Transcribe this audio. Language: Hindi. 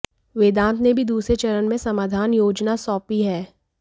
वेदांत ने भी दूसरे चरण में समाधान योजना सौंपी है